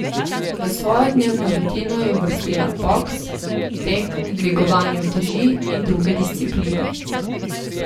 V svojo dnevno rutino je uvrstila boks, tek, dvigovanje uteži in druge discipline.